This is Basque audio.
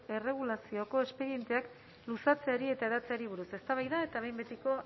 erregulazioko espedienteak luzatzeari eta hedatzeari buruz eztabaida eta behin betiko